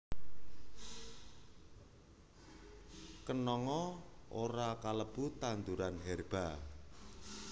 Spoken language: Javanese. Kenanga ora kalebu tanduran herba